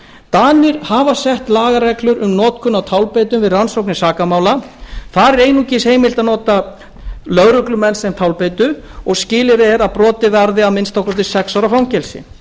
danir hafa sett lagareglur um notkun á tálbeitum við rannsóknir sakamála þar er einungis heimilt að nota lögreglumenn sem tálbeitu og skilyrðið er að brotið varði að minnsta kosti sex ára fangelsi